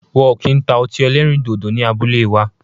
Wọn o ki n ta ọti ẹlẹrindodo ni abule wa